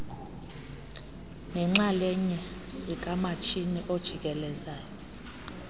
neenxalanye zikamatshini ojikelezayo